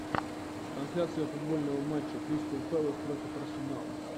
трансляция футбольного матча кристал пэлас против арсенала